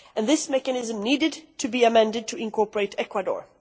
This mechanism needed to be amended to incorporate Ecuador.